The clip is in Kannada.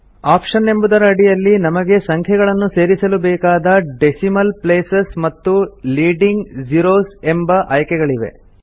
ಆಪ್ಷನ್ ಎಂಬುದರ ಅಡಿಯಲ್ಲಿ ನಮಗೆಸಂಖ್ಯೆಯನ್ನು ಸೇರಿಸಲು ಬೇಕಾದ ಡೆಸಿಮಲ್ ಪ್ಲೇಸಸ್ ಮತ್ತು ಲೀಡಿಂಗ್ ಜೀರೋಸ್ ಎಂಬ ಆಯ್ಕೆಗಳಿವೆ